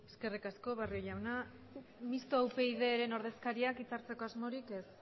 eskerrik asko barrio jauna mistoa upyd taldearen ordezkariak hitza hartzeko asmorik ez